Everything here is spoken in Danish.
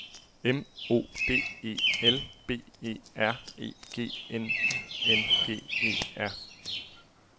M O D E L B E R E G N I N G E R